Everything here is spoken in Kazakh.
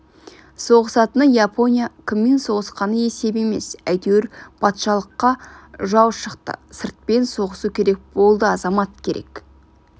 соғысатыны япония кіммен соғысқаны есеп емес әйтеуір патшалыққа жау шықты сыртпен соғысу керек болды азамат керек